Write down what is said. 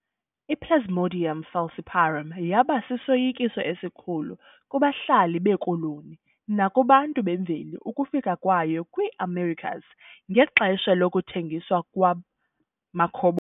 I-Plasmodium falciparum yabasisoyikiso esikhulu kubahlali beekoloni nakubantu bemveli ukufika kwayo kwiiAmericas ngexesha lokuthengiswa kwamakhobo